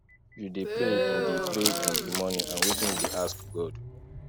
you dey pray in di pray in di morning and wetin you dey ask god